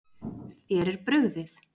Þér er brugðið.